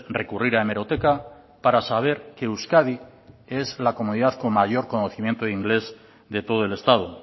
recurrir a hemeroteca para saber que euskadi es la comunidad con mayor conocimiento de inglés de todo el estado